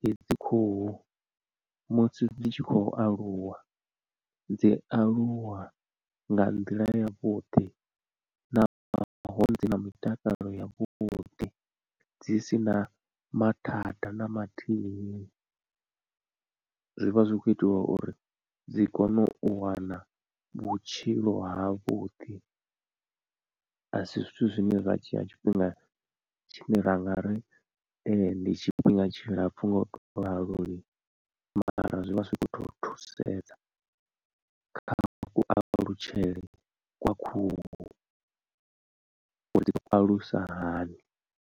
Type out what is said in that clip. hedzi khuhu musi dzi tshi khou aluwa, dzi aluwa nga nḓila yavhuḓi na dzi na mutakalo yavhuḓi dzi sina mathada na mathihi. Zwivha zwi kho itelwa uri dzi kone u wana vhutshilo havhuḓi a si zwithu zwine zwa dzhia tshifhinga tshine ra nga ri ndi tshifhinga tshilapfu ngo to ralo lini mara zwi vha zwi khou tou thusedza kha ku alutshele kwa khuhu udzi alusa hani.